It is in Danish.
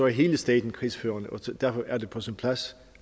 hele staten krigsførende så derfor er det på sin plads